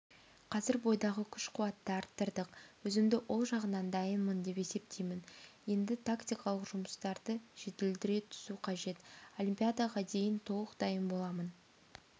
қазір бойдағы күш-қуатты арттырдық өзімді ол жағынан дайынмын деп есептеймін енді тактикалық жұмыстарды жетілдіре түсу қажет олимпиадаға дейін толық дайын боламын